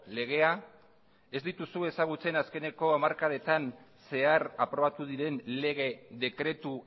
legea ez dituzu ezagutzen azkeneko hamarkadetan zehar aprobatu diren lege dekretu